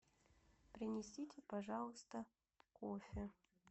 принесите пожалуйста кофе